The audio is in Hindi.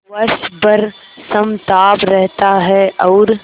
वर्ष भर समताप रहता है और